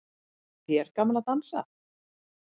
Finnst þér gaman að dansa?